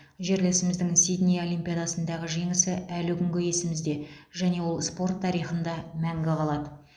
жерлесіміздің сидней олимпиадасындағы жеңісі әлі күнге есімізде және ол спорт тарихында мәңгі қалады